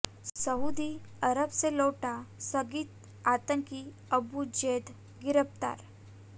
Saudi Arab से लौटा संदिग्ध आतंकी अबु जैद गिरफ्तार